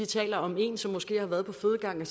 taler om en som måske har været på fødegangen